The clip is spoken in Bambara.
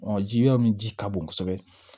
ji yɔrɔ min ji ka bon kosɛbɛ